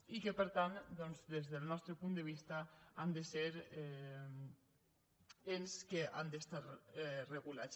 i per tant doncs des del nostre punt de vista han de ser ens que han d’estar regulats